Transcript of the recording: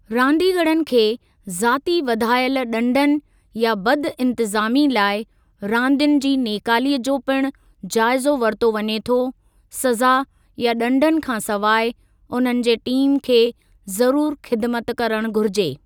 रांदीगरनि खे ज़ाती वधायल ॾंडनि या बदइंतिज़ामी लाइ रांदियुनि जी नेकाली जो पिणु जाइज़ो वरितो वञे थो सज़ा या ॾंडनि खां सवाइ उन्हनि जे टीम खे ज़रुर ख़िदिमत करणु घुरिजे।